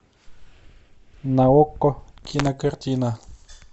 на окко кинокартина